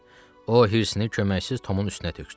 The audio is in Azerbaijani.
O hirsini köməksiz Tomun üstünə tökdü.